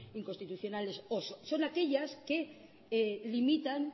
inconstitucionales o son aquellas que limitan